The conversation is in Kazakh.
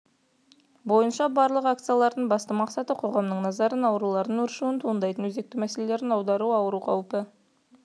бойынша барлық акциялардың басты мақсаты қоғамның назарын аурулардың өршуінен туындайтын өзекті мәселелерге аудару ауыру қаупі